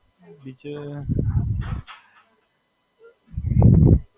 હાં, નાનો ભાઈ છે. એ હમણાં eleventh માં આયો છે. science લીધું છે.